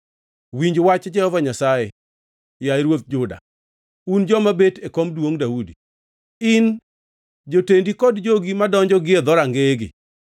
‘Winj wach Jehova Nyasaye, yaye ruodh Juda, un joma bet e kom duongʼ Daudi, in, jotendi kod jogi madonjo gie dhorangeyegi.